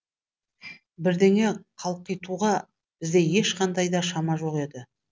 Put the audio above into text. бірдеңе қалқитуға бізде ешқандай да шама жоқ еді